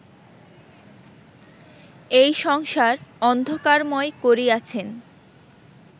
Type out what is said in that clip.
এই সংসার অন্ধকারময় করিয়াছেন